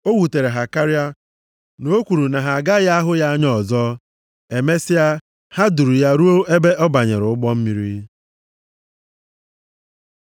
O wutere ha karịa na o kwuru na ha agaghị ahụ ya anya ọzọ. Emesịa, ha duru ya ruo ebe ọ banyere ụgbọ mmiri.